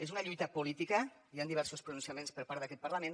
és una lluita política hi han diversos pronunciaments per part d’aquest parlament